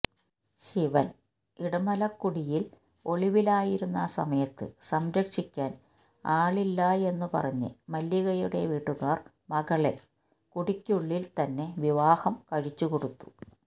ശിവന് ഇടമലക്കുടിയില് ഒളിവിലായിരുന്ന സമയത്ത് സംരക്ഷിക്കാന് ആളില്ലായെന്നു പറഞ്ഞ് മല്ലികയുടെ വീട്ടുകാര് മകളെ കുടിക്കുള്ളില് തന്നെ വിവാഹം കഴിച്ചുകൊടുത്തു